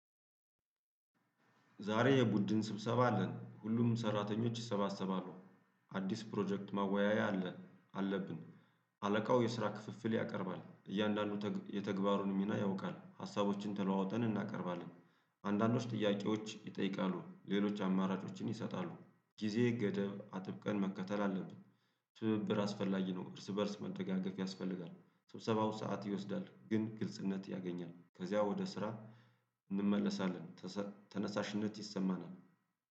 ዛሬ የቡድን ስብሰባ አለን ሁሉም ሰራተኞች ይሰባሰባሉ አዲስ ፕሮጀክት ማወያያ አለ አለብን። አለቃው የስራ ክፍፍል ያቀርባል እያንዳንዱ የተግባሩን ሚና ያውቃል ሀሳቦችን ተለዋውጠን እናቀርባለን። አንዳንዶች ጥያቄዎች ይጠይቃሉ ሌሎች አማራጮችን ይሰጣሉ ጊዜ ገደብ አጥብቀን መከተል አለብን። ትብብር አስፈላጊ ነው እርስ በእርስ መደጋገፍ ያስፈልጋል። ስብሰባው ሰዓት ይወስዳል ግን ግልጽነት ያገኛል ከዚያ ወደ ስራ እንመለሳለን። ተነሳሽነት ይሰማናል